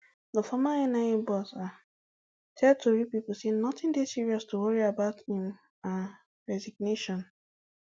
di former nia boss um tell tori pipo say notin dey serious to worry about im um resignation